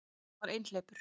Hann var einhleypur.